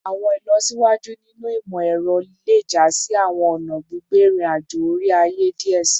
Awọn ilọsiwaju ninu imọ-ẹrọ le ja si awọn ọna gbigbe irin-ajo ore-aye diẹ sii